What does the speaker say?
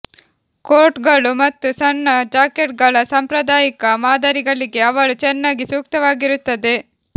ಕೋಟ್ಗಳು ಮತ್ತು ಸಣ್ಣ ಜಾಕೆಟ್ಗಳ ಸಾಂಪ್ರದಾಯಿಕ ಮಾದರಿಗಳಿಗೆ ಅವಳು ಚೆನ್ನಾಗಿ ಸೂಕ್ತವಾಗಿರುತ್ತದೆ